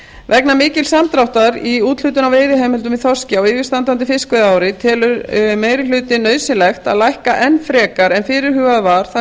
vegna mikils samdráttar í úthlutun á veiðiheimildum í þorski á yfirstandandi fiskveiðiári telur meiri hlutinn nauðsynlegt að lækka enn frekar en fyrirhugað var það